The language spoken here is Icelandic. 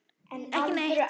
Ekki neinn.